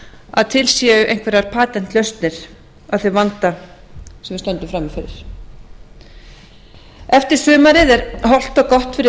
að til séu einhverjar patent lausnir á þeim vanda sem við stöndum frammi fyrir eftir sumarið er hollt og gott fyrir